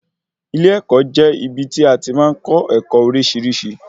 Ilé-ẹ̀kọ́ jẹ́ ibí tí a tí màá n kọ́ ẹ̀kọ́ oríṣiríṣi